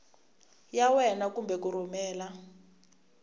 ya wena kumbe ku rhumela